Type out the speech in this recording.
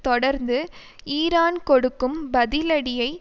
தொடர்ந்து ஈரான் கொடுக்கும் பதிலடியை